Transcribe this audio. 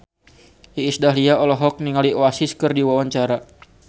Iis Dahlia olohok ningali Oasis keur diwawancara